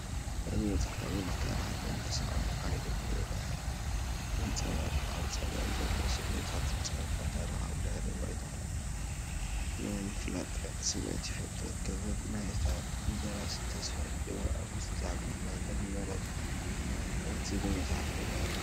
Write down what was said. እዚ መፅሓፍ ዕምቆት ታሪኽን ዛንታ ሰባትን ሓይሊ ብርዕን ዘንጸባርቕ ፣ ኣብ ጸጋም ዘሎ ስእልታትን ጽሑፋትን ታሪኻዊ ድሕረ ባይታ ናይ ምፍላጥ ስምዒት ይፈጥር። ከበር ናይታ ብደራሲ ተስፋይ ገብረኣብ ዝተጻሕፈት "ማህደር ኑረነቢ" እትብል መጽሓፍ የርኢ ኣሎ።